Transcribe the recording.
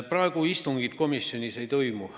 Praegu komisjonis istungeid ei toimu.